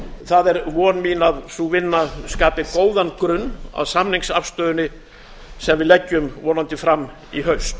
það er von mín að sú vinna skapi góðan grunn að samningsafstöðunni sem við leggjum vonandi fram í haust